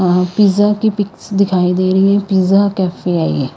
और पिज़्ज़ा की पिक्स दिखाइ दे रही है पिज़्ज़ा कैफे है ये।